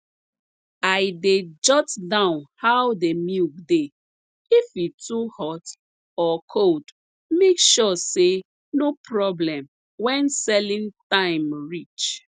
i dey jot down how de milk dey if e too hot or cold make sure say no problem when selling time reach